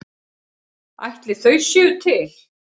Ætli þau séu til?